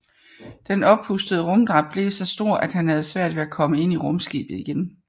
Den oppustede rumdragt blev så stor at han havde svært ved at komme ind i rumskibet igen